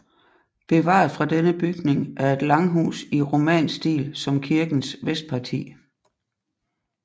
Bevaret fra denne bygning er et langhus i romansk stil som kirkens vestparti